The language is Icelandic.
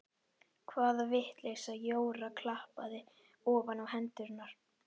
Hvaða vitleysa Jóra klappaði ofan á hendurnar.